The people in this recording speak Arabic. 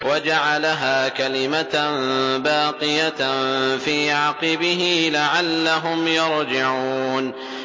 وَجَعَلَهَا كَلِمَةً بَاقِيَةً فِي عَقِبِهِ لَعَلَّهُمْ يَرْجِعُونَ